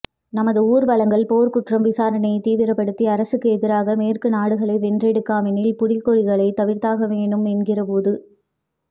நமது ஊர்வலங்கள் போர்க்குற்றம் விசாரணையைத் தீவிரப்படுத்தி அரசுக்கு எதிராக மேற்க்கு நாடுகளை வென்றெடுக்கவெனில் புலிகொடிகளை தவிர்த்தாகவேணும் என்கிறபோது